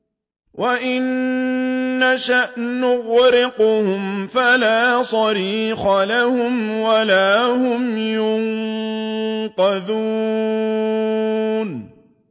وَإِن نَّشَأْ نُغْرِقْهُمْ فَلَا صَرِيخَ لَهُمْ وَلَا هُمْ يُنقَذُونَ